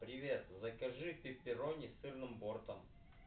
привет закажи пеперони с сырным бортом